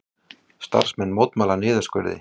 Starfsmenn mótmæla niðurskurði